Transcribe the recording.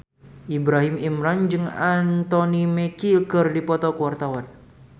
Ibrahim Imran jeung Anthony Mackie keur dipoto ku wartawan